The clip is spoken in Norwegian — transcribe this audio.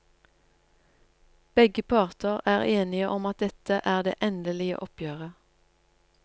Begge parter er enige om at dette er det endelige oppgjøret.